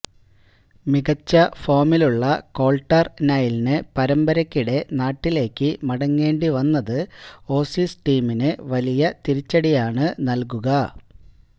മികച്ച ഫോമിലുള്ള കോൾട്ടർ നൈലിന് പരമ്പരയ്ക്കിടെ നാട്ടിലേക്ക് മടങ്ങേണ്ടി വന്നത് ഓസീസ് ടീമിന് വലിയ തിരിച്ചടിയാണ് നൽകുക